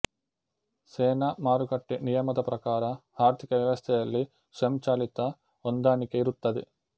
ಸೇ ನ ಮಾರುಕಟ್ಟೆ ನಿಯಮದ ಪ್ರಕಾರ ಆರ್ಥಿಕ ವ್ಯವಸ್ಥೆಯಲ್ಲಿ ಸ್ವಯಂಚಾಲಿತ ಹೊಂದಾಣಿಕೆಯಿರುತ್ತದೆ